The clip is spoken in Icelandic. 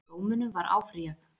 Dómunum var áfrýjað